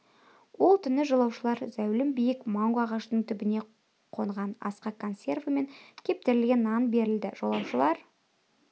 ол түні жолаушылар зәулім биік манго ағашының түбіне қонған асқа консерві мен кептірілген нан берілді жолаушылар